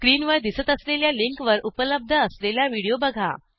स्क्रीनवर दिसत असलेल्या लिंकवर उपलब्ध असलेला व्हिडिओ बघा